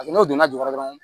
N'o donna jukɔrɔ